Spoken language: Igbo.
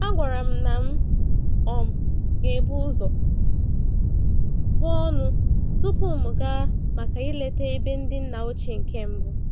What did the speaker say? A gwara m na m um gebu ụzọ buo ọnụ tupu m gaa maka ileta ebe ndị nna ochie nke mbụ.